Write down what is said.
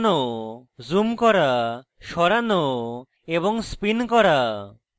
screen model ঘোরানো zoom করা সরানো এবং spin করা